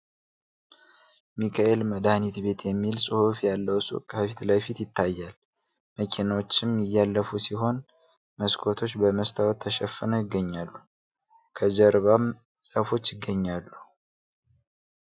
ሚካኤል መድሀኒት ቤት የሚል ሁፍ ያለው ሱቅ ከፊት ለፊት ይታያል መኪኖችም እያለፉ ሲሆን መስኮቶች በመስታወት ተሸፍነው ይገኛሉ ። ከጀርባም ዛፎች ይገኛሉ ።